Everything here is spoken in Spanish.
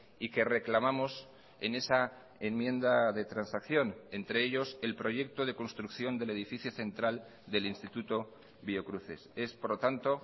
y que reclamamos en esa enmienda de transacción entre ellos el proyecto de construcción del edificio central del instituto biocruces es por lo tanto